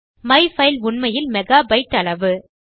my file உண்மையில் megabyte அளவு